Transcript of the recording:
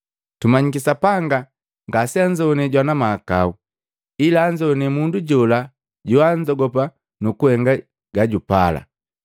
Tumanyiki Sapanga ngaseanzoane jwana mahakau, ila anzowane mundu jola joanzogopa nukuhenga gajupala.